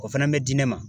O fana bɛ di ne ma